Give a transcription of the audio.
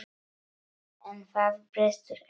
En það brestur ekki.